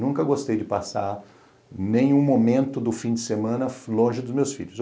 Nunca gostei de passar nenhum momento do fim de semana longe dos meus filhos.